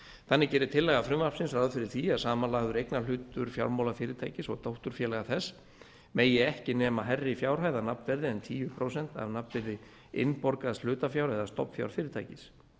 þannig gerir tillaga frumvarpsins ráð fyrir því að samanlagður eignarhlutur fjármálafyrirtækis og dótturfélaga þess megi ekki nema hærri fjárhæð að nanfverði en tíu prósent af nafnvirði innborgaðs hlutafjár eða stofnfjár fyrirtækis